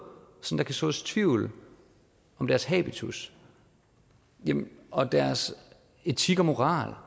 sådan kan sås tvivl om deres habitus og deres etik og moral